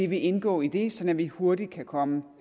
vil indgå i det så vi hurtigt kan komme